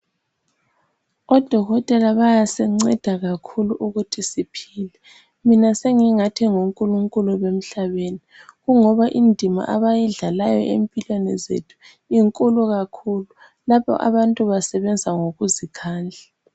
Odokotela bayasinceda kakhulu ukuthi siphile. Mina sengingathi ngonkulunkulu bemhlabeni. Kungoba indima abayidlalayo empilweni zethu, inkulu kakhulu. Lapho abantu basebenza ngokuzikhandla.